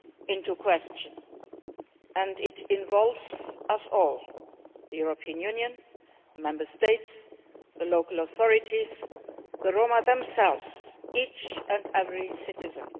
into question, and it involves us all the European Union, the Member States, the local authorities, the Roma themselves each and every citizen.